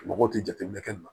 Mɔgɔw tɛ jateminɛ kɛ nin na